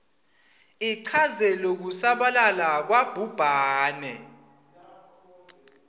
ichaze lokusabalala kwabhubhane